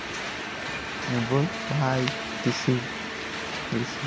मग बोल bye tc vc